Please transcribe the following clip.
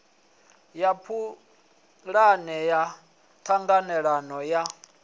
ya pulane ya ṱhanganelano ya